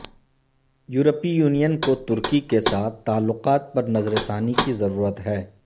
یورپی یونین کو ترکی کے ساتھ تعلقات پر نظر ثانی کی ضرورت ہے